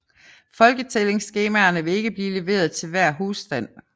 Folketællingsskemaerne vil ikke blive leveret til hver husstand